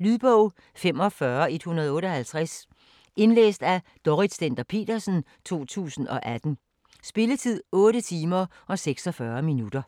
Lydbog 45158 Indlæst af Dorrit Stender-Petersen, 2018. Spilletid: 8 timer, 46 minutter.